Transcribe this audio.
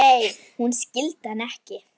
Nei, hún skildi hann ekki.